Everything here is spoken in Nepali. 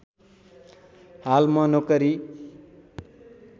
हाल म नोकरी